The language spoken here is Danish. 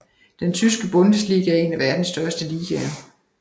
Den tyske Bundesliga er en af verdens største ligaer